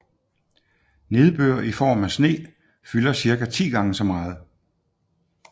Nedbør i form af sne fylder cirka 10 gange så meget